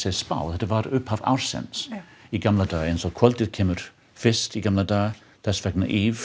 spá þetta var upphaf ársins í gamla daga eins og kvöldið kemur fyrst í gamla daga þess vegna